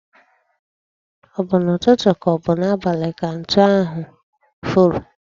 O bụ n'ụtụtụ ka ọ bụ n'abalị ka ntu ahu furu?